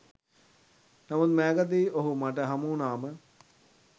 නමුත් මෑතකදී ඔහු මට හමුවුනාම